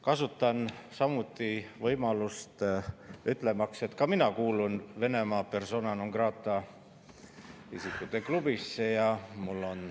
Kasutan samuti võimalust ütlemaks, et ka mina kuulun Venemaa persona non grata'de klubisse.